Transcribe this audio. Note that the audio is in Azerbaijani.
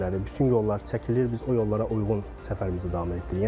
Bütün yollar çəkilir, biz o yollara uyğun səfərimizi davam etdiririk.